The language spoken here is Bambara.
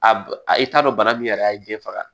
A b a i t'a dɔn bana min yɛrɛ a y'i den faga